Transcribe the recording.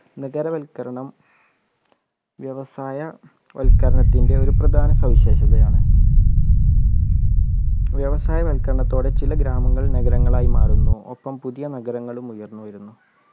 നഗര വൽക്കരണം വ്യവസായ വൽക്കരണത്തിൻ്റെ ഒരു പ്രധാന സവിശേഷതയാണ് വ്യവസായ വൽക്കരണത്തോടെ ചില ഗ്രാമങ്ങൾ നഗരങ്ങളായി മാറുന്നു ഒപ്പം പുതിയ നഗരങ്ങളും ഉയർന്നു വരുന്നു